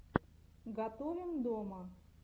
готовим дома